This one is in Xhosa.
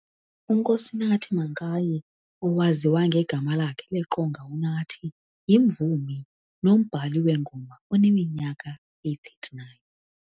U-Nkosinathi Mankayi, owaziya ngegama lakhe leqonga uNathi yimvumi nombhali weengoma oneminyaka eyi 39.